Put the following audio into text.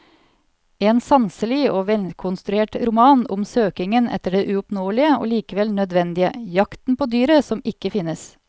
En sanselig og velkonstruert roman om søkingen etter det uoppnåelige og likevel nødvendige, jakten på dyret som ikke finnes.